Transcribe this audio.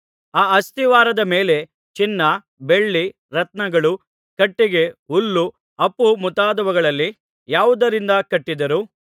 ಆ ಅಸ್ತಿವಾರದ ಮೇಲೆ ಚಿನ್ನ ಬೆಳ್ಳಿ ರತ್ನಗಳು ಕಟ್ಟಿಗೆ ಹುಲ್ಲು ಆಪು ಮುಂತಾದವುಗಳಲ್ಲಿ ಯಾವುದರಿಂದ ಕಟ್ಟಿದರೂ